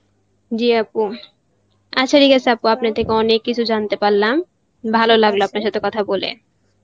জি আপু, আচ্ছা ঠিক আছে আপু আপনার থেকে অনেক কিছু জানতে পারলাম ভালো লাগলো আপনার সাথে কথা বলে